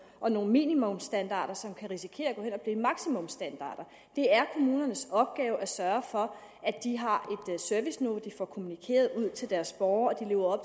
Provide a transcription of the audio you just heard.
og nogle minimumsstandarder som kan risikere at blive maksimumsstandarder det er kommunernes opgave at sørge for at de har et serviceniveau de får kommunikeret ud til deres borgere og at de lever